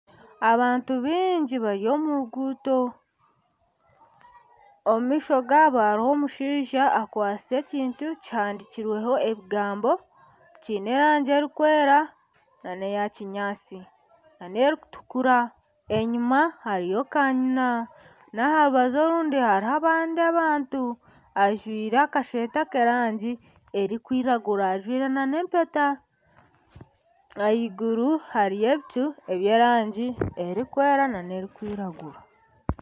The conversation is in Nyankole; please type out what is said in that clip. Abantu baingi bari omu ruguuto omu maisho gaabo harimu omushaija akwatsire ekintu kihandikirweho ebigambo kyine erangi erikwera nana eya kinyaatsi nana erikutukura enyima hariyo kanyina naha rubaju orundi haribo n'abandi abantu. Ajwire akashweta k'erangi erikwiragura ajwire n'empeta . Ahaiguru hariyo ebicu eby'erangi erikwera nana erikwiragura.